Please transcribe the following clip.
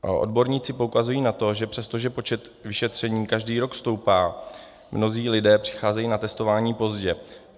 Odborníci poukazují na to, že přestože počet vyšetření každý rok stoupá, mnozí lidé přicházejí na testování pozdě.